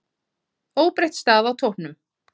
Óbreytt staða á toppnum